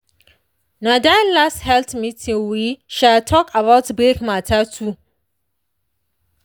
na that last health meeting we um talk about break matter too.